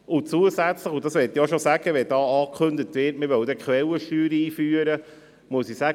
Zusätzlich möchte ich zur Ankündigung der Einführung der Quellensteuer sagen: